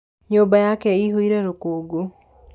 Nyũmba yake ĩihũire rũkũngũ.